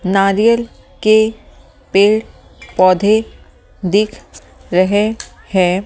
नारियल के पेड़ पौधे दिख रहे हैं ।